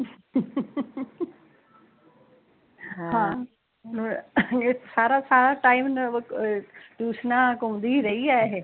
ਹਮ ਇਹ ਸਾਰਾ ਸਾਰਾ ਟਾਇਮ ਅਹ ਟਿਊਸਨਾਂ ਘੁੰਮਦੀ ਰਹੀ ਆ ਇਹ